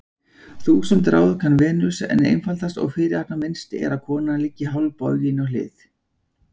Þúsund ráð kann Venus, en einfaldast og fyrirhafnarminnst er að konan liggi hálfbogin á hlið.